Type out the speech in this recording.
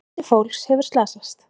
Fjöldi fólks hefur slasast.